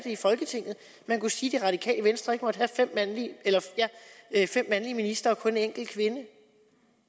i folketinget man kunne sige at det radikale venstre ikke måtte have fem mandlige ministre og kun en enkelt kvindelig